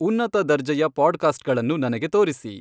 ಉನ್ನತ ದರ್ಜೆಯ ಪಾಡ್ಕಾಸ್ಟ್ಗಳನ್ನು ನನಗೆ ತೋರಿಸಿ